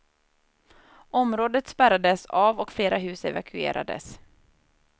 Området spärrades av och flera hus evakuerades.